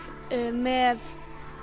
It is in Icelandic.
með